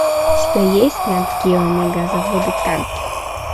у тебя есть нат гео мегазаводы танки